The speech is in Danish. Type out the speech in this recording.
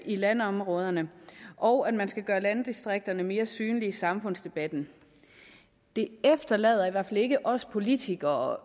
i landområderne og at man skal gøre landdistrikterne mere synlige i samfundsdebatten det efterlader i hvert fald ikke os politikere